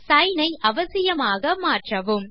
sign ஐ அவசியமாக மாற்றவும்